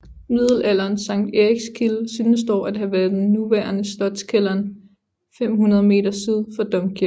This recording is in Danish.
Middelalderens Sankt Erikskilde synes dog at have været den nuværende Slotskælderen 500 m syd for domkirken